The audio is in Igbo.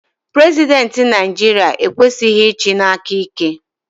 Prezidenti Naijiria ekwesighi ichi n'aka ike.